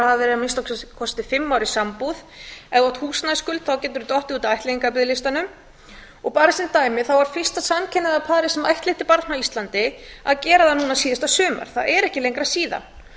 að hafa verið í að minnsta kosti fimm ár í sambúð ef þú átt húsnæðisskuld þá getur þú dottið út af ættleiðingarbiðlistanum og bara sem dæmi þá er fyrsta samkynhneigða parið sem ættleiddi barn á íslandi að gera það núna síðasta sumar það er ekki lengra síðan